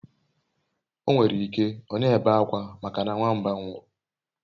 Onwerike o n'ebe akwa maka na nwamba nwuru